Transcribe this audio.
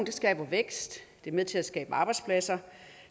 skaber vækst det er med til at skabe arbejdspladser